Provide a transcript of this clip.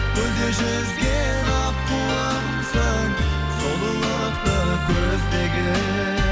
көлде жүзген аққуымсың сұлулықты көздеген